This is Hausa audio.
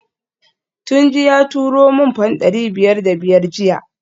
Tunji ya turo min fam dari biyar da biyar jiya